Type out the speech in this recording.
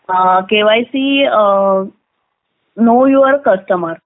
a.... KYC know your customer